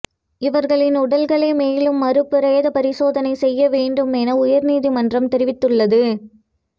இவர்களின் உடல்களை மேலும் மறு பிரேத பரிசோதனை செய்ய வேண்டும் என உயர்நீதிமன்றம் தெரிவித்து உள்ளது